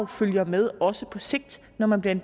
følger med også på sigt når man bliver en